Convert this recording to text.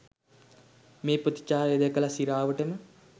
මේ ප්‍රතිචාරය දැකලා සිරාවටම.